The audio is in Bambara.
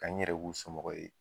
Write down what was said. Ka n yɛrɛ k'u somɔgɔ ye